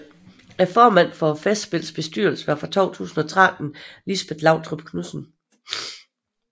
Formand for Festspillets bestyrelse var fra 2013 Lisbet Lautrup Knudsen